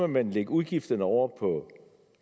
man lægge udgifterne over på